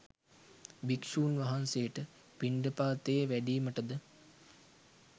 භික්‍ෂූන් වහන්සේට පිණ්ඩපාතයේ වැඩීමට ද